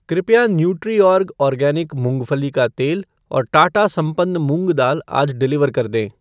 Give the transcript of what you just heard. कृपया Nutriorg organic मूँगफली का तेल और टाटा संपन्न मूंग दाल आज डिलीवर कर दें।